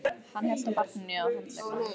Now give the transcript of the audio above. Hann hélt á barninu á handleggnum.